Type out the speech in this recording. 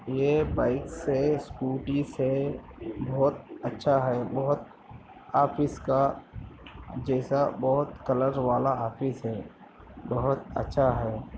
ये बाइक्स है। स्कूटीज है। बहुत अच्छा है बहुत आप इसका जैसा बहुत कलर वाला ऑफिस है। बहुत अच्छा है।